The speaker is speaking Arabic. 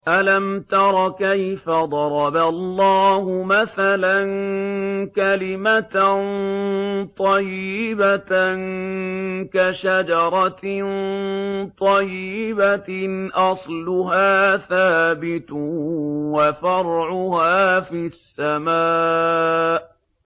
أَلَمْ تَرَ كَيْفَ ضَرَبَ اللَّهُ مَثَلًا كَلِمَةً طَيِّبَةً كَشَجَرَةٍ طَيِّبَةٍ أَصْلُهَا ثَابِتٌ وَفَرْعُهَا فِي السَّمَاءِ